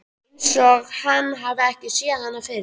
Einsog hann hafi ekki séð hana fyrr.